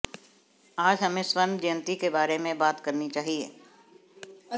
आज हमें स्वर्ण जयंति के बारे में बात करनी चाहिए